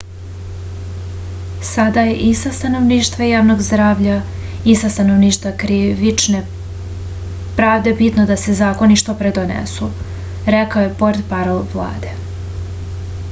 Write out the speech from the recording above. sada je i sa stanovišta javnog zdravlja i sa stanovišta krivične pravde bitno da se zakoni što pre donesu rekao je portparol vlade